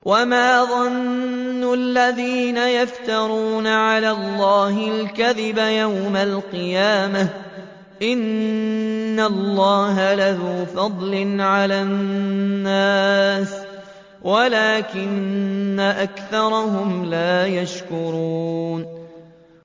وَمَا ظَنُّ الَّذِينَ يَفْتَرُونَ عَلَى اللَّهِ الْكَذِبَ يَوْمَ الْقِيَامَةِ ۗ إِنَّ اللَّهَ لَذُو فَضْلٍ عَلَى النَّاسِ وَلَٰكِنَّ أَكْثَرَهُمْ لَا يَشْكُرُونَ